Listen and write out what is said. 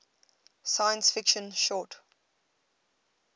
science fiction short